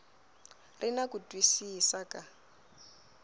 ri na ku twisisa ka